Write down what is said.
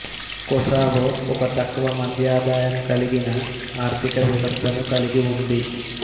Kosovo ఒక తక్కువమధ్యఆదాయం కలిగిన ఆర్థిక వ్యవస్థను కలిగి ఉంది